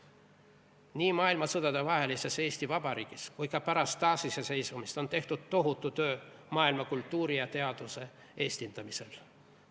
Nii maailmasõdadevahelises Eesti Vabariigis kui ka pärast taasiseseisvumist on tehtud tohutu töö maailma kultuuri ja teaduse eestindamisel.